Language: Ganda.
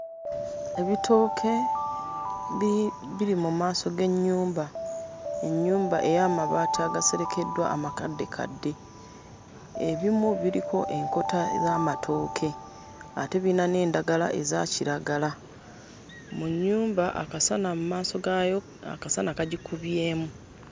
Ebitooke bi biri mu maaso g'ennyumba ennyumba ey'amabaati agaserekeddwa amakaddekadde ebimu biriko enkota z'amatooke ate biyina n'endagala eza kiragala mu nnyumba akasana mmaaso gaayo akasana kagikubyemu.